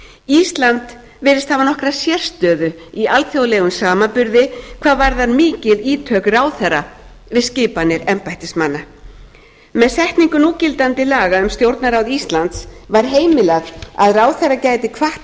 ísland virðist hafa nokkra sérstöðu í alþjóðlegum samanburði hvað varðar mikil ítök ráðherra við skipanir embættismanna við setningu núgildandi laga um stjórnarráð íslands var heimilað að ráðherra gæti kvatt